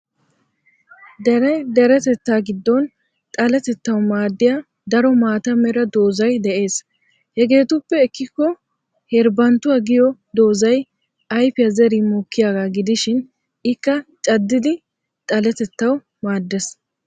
Dere deretettaa giddon xalletettawu maadiya daromaata Mera doozzay de'es. Hegeetuppe ekkikko herbbanttuwa giyo doozzay ayfiya zerin mokkiyaagaa gidishin ikka caddidi xaletettawu maaddes.